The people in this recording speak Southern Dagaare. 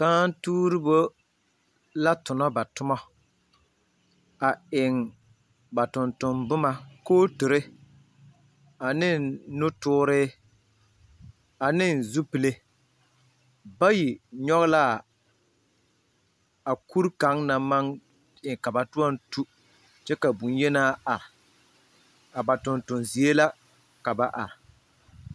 Kããtuuribo la tona ba tomo, a eŋ ba tontomboma, kooturi ane nutooree ane zupele. Bayi nyɔglaa a kur kaŋ naŋ maŋ e ka ba toɔŋ tu, kyɛ ka bonyenaa are. A ba tontonzie la ka ba are.